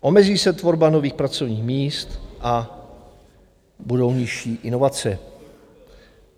Omezí se tvorba nových pracovních míst a budou nižší inovace.